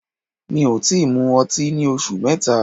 Mi ò tí mu ọtí ní oṣù mẹ́ta.